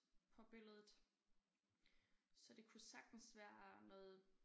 På billedet så det kunne sagtens være noget